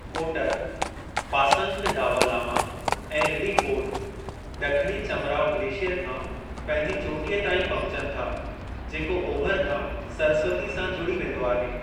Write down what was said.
कोटर, पासंग दावा लामा ऐं रिडिफोर्ड ड॒खिणी चमराव ग्लेशियर खां पंहिंजी चोटीअ ताईं पहुंचनि था जेको ओभिरि खां सरस्वती सां जुड़ी वेंदो आहे।